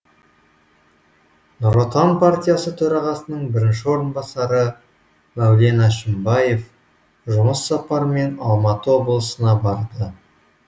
нұр отан партиясы төрағасының бірінші орынбасары мәулен әшімбаев жұмыс сапарымен алматы облысына барды